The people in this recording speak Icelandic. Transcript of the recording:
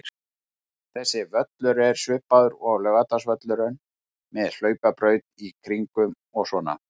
Þessi völlur er svipaður og Laugardalsvöllurinn, með hlaupabraut í kringum og svona.